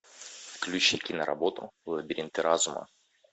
включи киноработу лабиринты разума